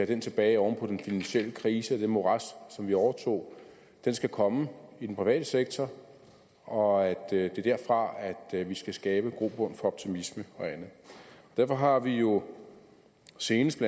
den tilbage oven på den finansielle krise og det morads som vi overtog skal komme i den private sektor og at det er derfra vi skal skabe grobund for optimisme og andet derfor har vi jo senest